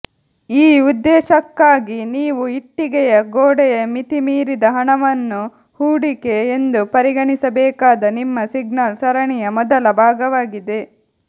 ಈ ಉದ್ದೇಶಕ್ಕಾಗಿ ನೀವು ಇಟ್ಟಿಗೆಯ ಗೋಡೆಯ ಮಿತಿಮೀರಿದ ಹಣವನ್ನು ಹೂಡಿಕೆ ಎಂದು ಪರಿಗಣಿಸಬೇಕಾದ ನಿಮ್ಮ ಸಿಗ್ನಲ್ ಸರಣಿಯ ಮೊದಲ ಭಾಗವಾಗಿದೆ